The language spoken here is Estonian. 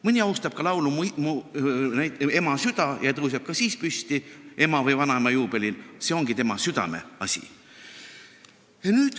Mõni austab näiteks laulu "Ema süda" ja tõuseb ka selle kõlamise ajal ema või vanaema juubelil püsti, see ongi tema südameasi.